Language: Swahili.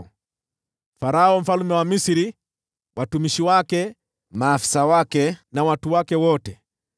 pia Farao mfalme wa Misri, watumishi wake, maafisa wake na watu wake wote,